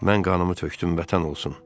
Mən qanımı tökdüm, Vətən olsun.